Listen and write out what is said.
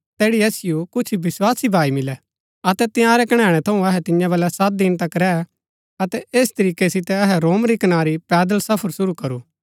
तैठी असिओ कुछ विस्वासी भाई मिलै अतै तंयारै कणैणै थऊँ अहै तियां बलै सत दिन तक रैह अतै ऐस तरीकै सितै अहै रोम री कनारी पैदल सफर शुरू करू